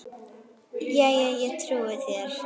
Jæja, ég trúi þér.